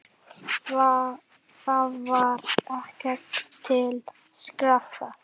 Þar var ekkert til sparað.